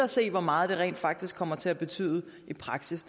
og se hvor meget det rent faktisk kommer til at betyde i praksis